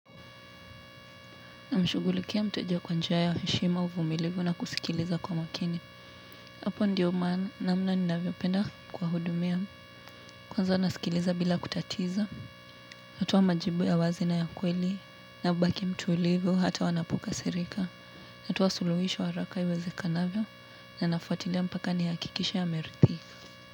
Namshugulikia mteja kwa njia ya heshima uvumilivu na kusikiliza kwa makini. Hapo ndiyo maana namna ninavyo penda kuwa hudumia. Kwanza nasikiliza bila kutatiza. Natoa majibu ya wazi na ya kweli na hubaki mtuulivu hata wanapoka sirika. Natoa suluhisho haraka iwezekanavyo na nafuatilia mpaka ni hakikishe amerithika.